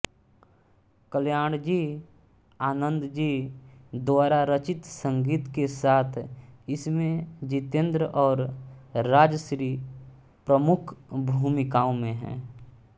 कल्याणजीआनंदजी द्वारा रचित संगीत के साथ इसमें जितेन्द्र और राजश्री प्रमुख भूमिकाओं में हैं